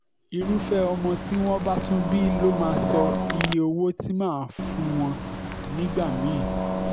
irúfẹ́ ọmọ tí wọ́n bá tún bí ló máa sọ iye owó tí mà á fún wọn nígbà mí-ín